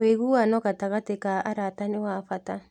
Wũiguano gatagatĩ ka arata nĩ wa bata